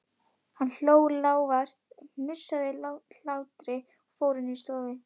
Hann hló, lágværum, hnussandi hlátri og fór inn í stofu.